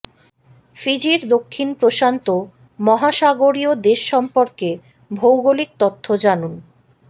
ফিজির দক্ষিণ প্রশান্ত মহাসাগরীয় দেশ সম্পর্কে ভৌগোলিক তথ্য জানুন